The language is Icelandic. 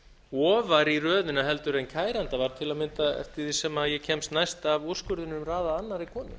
ofar í röðinni en kæranda var til að mynda eftir því sem ég kemst næst af úrskurðinum raðað annarri konu